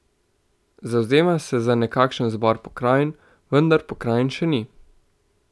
Zavzema se za nekakšen zbor pokrajin, vendar pokrajin še ni.